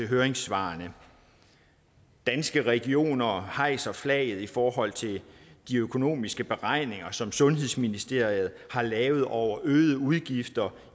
høringssvarene danske regioner hejser flaget i forhold til de økonomiske beregninger som sundhedsministeriet har lavet over de øgede udgifter